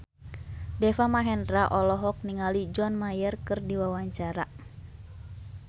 Deva Mahendra olohok ningali John Mayer keur diwawancara